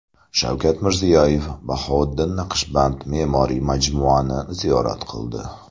Shavkat Mirziyoyev Bahouddin Naqshband me’moriy majmuini ziyorat qildi.